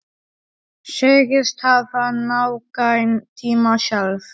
Segist hafa nægan tíma sjálf.